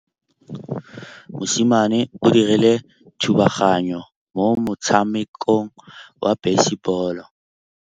Mosimane o dirile thubaganyô mo motshamekong wa basebôlô.